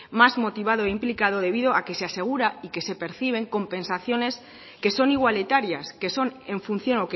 más motivado e implicado debido a que se asegura y que se perciben compensaciones que son igualitarias que son en función